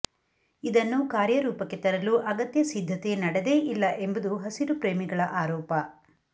ಇದನ್ನು ಕಾರ್ಯರೂಪಕ್ಕೆ ತರಲು ಅಗತ್ಯ ಸಿದ್ಧತೆ ನಡೆದೇ ಇಲ್ಲ ಎಂಬುದು ಹಸಿರುಪ್ರೇಮಿಗಳ ಆರೋಪ